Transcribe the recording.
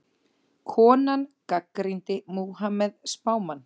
Konan gagnrýndi Múhameð spámann